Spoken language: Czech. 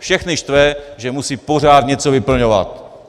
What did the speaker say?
Všechny štve, že musejí pořád něco vyplňovat.